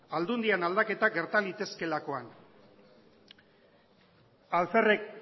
aldundian aldaketak gerta litezkeelakoan alferrik